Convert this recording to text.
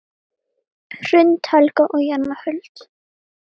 Ingi Karl.